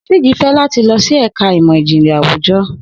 Siji fẹ lati lọ si ẹka imọ-jinlẹ awujọ